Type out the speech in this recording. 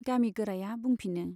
गामिगोराया बुंफिनो।